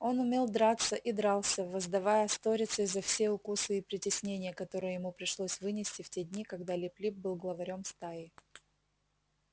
он умел драться и дрался воздавая сторицей за все укусы и притеснения которые ему пришлось вынести в те дни когда лип лип был главарём стаи